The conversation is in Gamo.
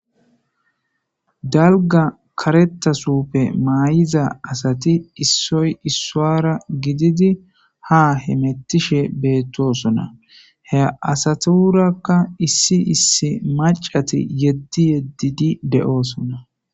Dalga karetasuppe maay7iza asati issoy issoara gididi ha hemettishe beettosona he asatirakka issi issi macati yeddi yeddidi de7oosona.